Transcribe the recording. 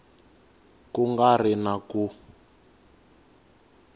ku nga ri na ku